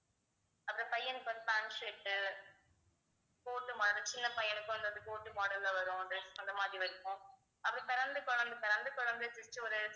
அந்த பையனுக்கு வந்து pant shirt உ coat மார்~ சின்ன பையனுக்கும் அந்த அது coat model ல வரும் dress அந்த மாதிரி இருக்கும் அது பிறந்து குழந்தை பிறந்து குழந்தையைப் பிடித்து ஒரு